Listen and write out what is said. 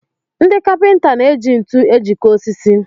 Ndị Kapịnta na-eji ntu ejikọ osisi